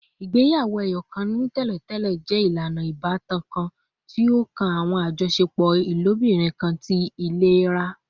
Igbeyawo-ẹyọkan ni tẹlentẹle jẹ ilana ibatan kan ti o kan awọn ajọṣepọ ilobirin kan ni itẹlera